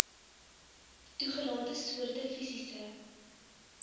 toegelate soorte fisiese